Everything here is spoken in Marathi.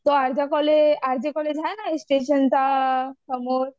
ते कॉलेज आर जे कॉलेज आहे ना स्टेशनच्या समोर